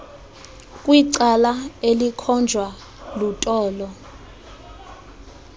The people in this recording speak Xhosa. kwicala elikhonjwa lutolo